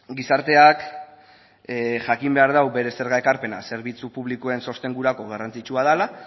gizarteak jakin behar du bere zerga ekarpena zerbitzu publikoen sostengurako garrantzitsua dela